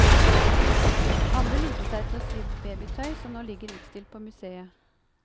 Andre lurte seg til å sy babytøy, som nå ligger utstilt på museet.